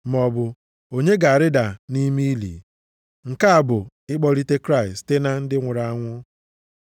“maọbụ, ‘Onye ga-arịda nʼime ili?’ ”+ 10:7 \+xt Dit 30:13\+xt* (nke a bụ, ịkpọlite Kraịst site na ndị nwụrụ anwụ).